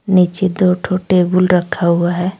नीचे दो ठो टेबुल रखा हुआ है।